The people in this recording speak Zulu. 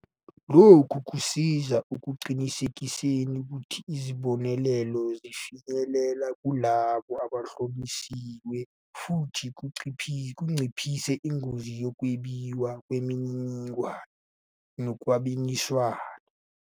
Lokhu kusiza ekuqinisekiseni ukuthi izibonelelo zifinyelela kulabo abahlosiwe futhi kunciphise ingozi yokwebiwa kwemininingwane nokukhwabanisa.